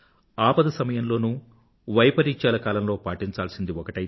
ఆపద సమయంలోనూ వైపరీత్యాల మధ్య పాటించాల్సినది ఒకటి